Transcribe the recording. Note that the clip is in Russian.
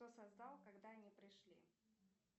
кто создал когда они пришли